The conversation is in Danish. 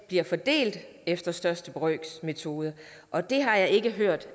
bliver fordelt efter største brøks metode og det har jeg ikke hørt